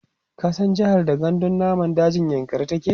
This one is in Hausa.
ka san jehar da gandun namun dajin yankari take?